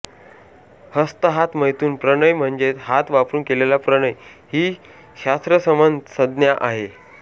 हस्त हात मैथुन प्रणय म्हणजेच हात वापरून केलेला प्रणय ही शास्त्रसंमत संज्ञा आहे